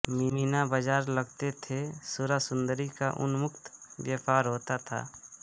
मीना बाज़ार लगते थे सुरासुन्दरी का उन्मुक्त व्यापार होता था